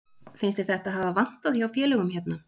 Finnst þér þetta hafa vantað hjá félögum hérna?